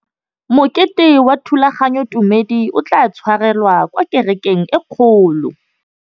Mokete wa thulaganyôtumêdi o tla tshwarelwa kwa kerekeng e kgolo.